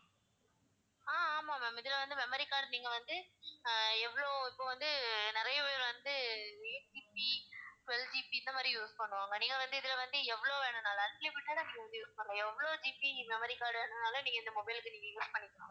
ஆஹ் ஆமாம் ma'am இதுல வந்து memory card நீங்க வந்து அஹ் எவ்ளோ இப்ப வந்து நிறைய பேர் வந்து eight GB twelve GB இந்த மாதிரி use பண்ணுவாங்க நீங்க வந்து இதுல வந்து எவ்ளோ வேண்டுமானாலும் unlimited ஆ நீங்க வந்து use பண்ணலாம் எவ்ளோ GB memory card வேண்டுனாலும் நீங்க இந்த mobile க்கு நீங்க use பண்ணிக்கலாம்